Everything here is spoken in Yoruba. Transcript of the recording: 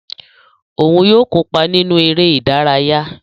Òún yóò kópa nínú eré ìdárayá